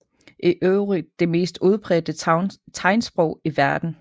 I øvrigt det mest udbredte tegnsprog i verden